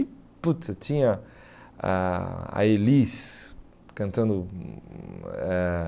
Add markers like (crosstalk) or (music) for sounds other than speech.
E (unintelligible) tinha a a Elis cantando. Hum hum eh